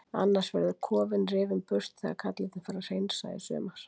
Annars verður kofinn rifinn burt þegar kallarnir fara að hreinsa í sumar.